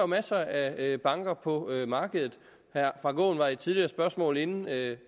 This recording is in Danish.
masser af banker på markedet herre frank aaen var i et tidligere spørgsmål inde at